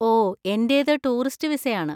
ഓ, എന്‍റേത് ടൂറിസ്റ്റ് വിസയാണ്.